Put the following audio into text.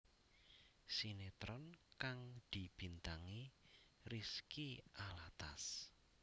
Sinetron kang dibintangi Rizky Alatas